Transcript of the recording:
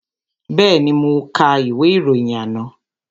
Bẹ́ẹ̀ni, mo ka ìwé ìròyìn àná